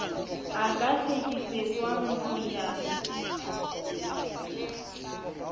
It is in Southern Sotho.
a ka hlekefetswang ho ya